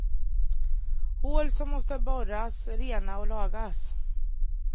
Hål som måste borras rena och lagas.